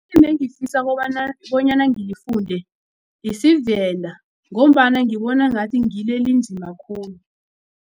Into engifisa kobana bonyana ngiyifunde isiVenda ngombana ngibona ngathi ngilo elinzima khulu.